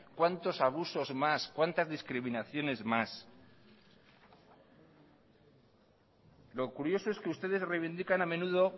cuántos abusos más cuántas discriminaciones más lo curioso es que ustedes reivindican a menudo